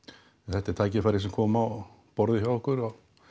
þetta er tækifæri sem kom á borðið hjá okkur